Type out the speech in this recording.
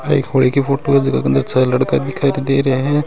आ एक होली की फोटो है जाका अंदर चार लड़का दिखाई देरया है।